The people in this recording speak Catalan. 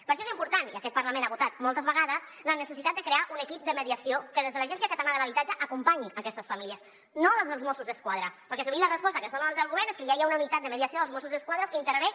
per això és important i aquest parlament ho ha votat moltes vegades la neces·sitat de crear un equip de mediació que des de l’agència catalana de l’habitatge acompanyi aquestes famílies no des dels mossos d’esquadra perquè sovint la res·posta que es dona des del govern és que ja hi ha una unitat de mediació dels mossos d’esquadra que intervé